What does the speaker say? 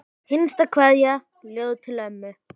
Hinsta kveðja, ljóð til ömmu.